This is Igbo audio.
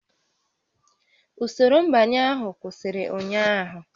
Usoro nbanye ahụ kwụsịrị ụnyaahụ